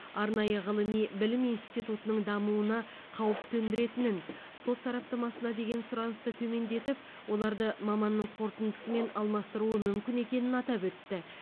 арнайы ғылыми білім институтының дамуына қауіп төндіретінін сот сараптамасына деген сұранысты төмендетіп оларды маманның қорытындысымен алмастыруы мүмкін екенін атап өтті